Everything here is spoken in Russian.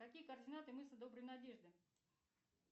какие координаты мыса доброй надежды